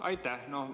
Aitäh!